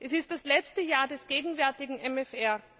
Es ist das letzte Jahr des gegenwärtigen MFR.